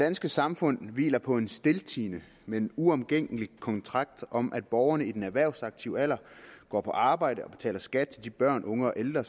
danske samfund hviler på en stiltiende men uomgængelig kontrakt om at borgerne i den erhvervsaktive alder går på arbejde og betaler skat til de børn unge og ældre